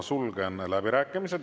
Sulgen läbirääkimised.